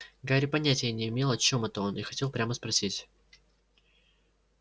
гарри понятия не имел о чём это он и хотел прямо спросить